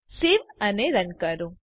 save અને run કરો